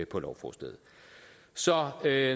på lovforslaget så der